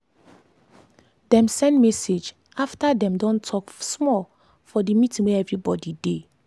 dem send message after dem don talk small for the meeting wey everybody dey.